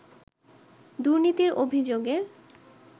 দুর্নীতির অভিযোগের